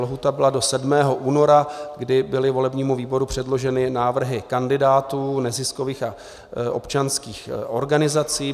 Lhůta byla do 7. února, kdy byly volebnímu výboru předloženy návrhy kandidátů neziskových a občanských organizací.